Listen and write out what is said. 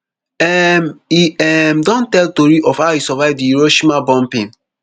um e um don tell tori of how e survive di hiroshima bombing